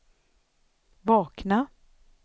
vakna